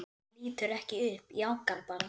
Hann lítur ekki upp, jánkar bara.